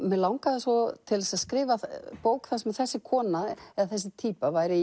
mig langaði svo til að skrifa bók þar sem þessi kona eða þessi týpa væri í